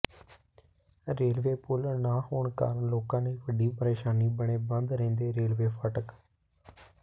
railway ਪੁਲ ਨਾ ਹੋਣ ਕਾਰਨ ਲੋਕਾਂ ਲਈ ਵੱਡੀ ਪ੍ਰੇਸ਼ਾਨੀ ਬਣੇ ਬੰਦ ਰਹਿੰਦੇ ਰੇਲਵੇ ਫ਼ਾਟਕ